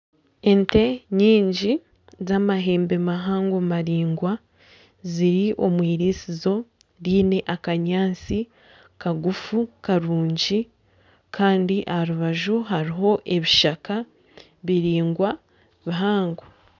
Ente nyingi z'amahembe mahango maraingwa ziri omwiriisizo ryine akanyaatsi kagufu karungi kandi aha rubaju hariho ebishaka biraingwa bihango.